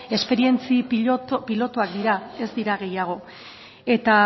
esperientzia pilotuak dira ez dira gehiago